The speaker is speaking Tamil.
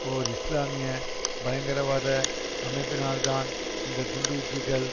ஓர் இஸ்லாமிய பயங்கரவாத அமைப்பினால்தான் இந்த குண்டுவீச்சுக்கள்